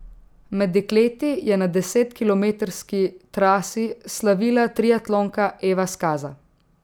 Med dekleti je na desetkilometrski trasi slavila triatlonka Eva Skaza.